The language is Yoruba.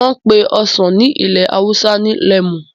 N ó pé ọsàn ní ilẹ̀ awúsá ní lemu